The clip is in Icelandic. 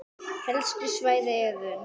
Helstu svæði eru